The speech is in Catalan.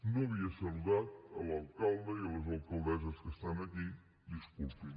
no havia saludat l’alcalde i les alcaldesses que estan aquí disculpin